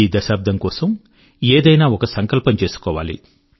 ఈ దశాబ్దం కొరకు ఏదైనా ఒక సంకల్పం చేసుకోవాలి